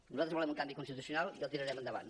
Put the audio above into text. nosaltres volem un canvi constitucional i el tirarem endavant